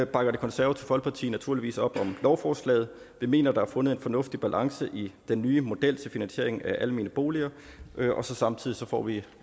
bakker det konservative folkeparti naturligvis op om lovforslaget vi mener der er fundet en fornuftig balance i den nye model til finansiering af almene boliger og samtidig får vi